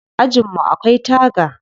Ajin mu akwai taga.